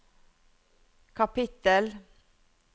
kapittel